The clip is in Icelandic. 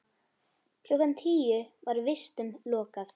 Klukkan tíu var vistum lokað.